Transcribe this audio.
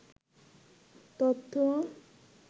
তথ্য